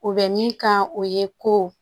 U bɛ min kan o ye ko